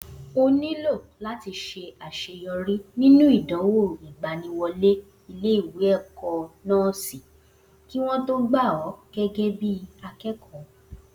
O nílò làti ṣe àṣeyọrí nínú ìdánwò ìgbaniwọlé ilé ìwé ẹ̀kọ́ nọ́ọ́sì kí wo tó gbà ọ gégé bí akẹẹkọ